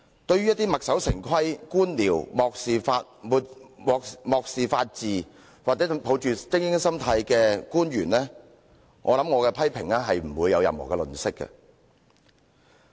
對於一些墨守成規、官僚、漠視法治或抱着精英心態的官員，相信我會毫不留情地作出批評。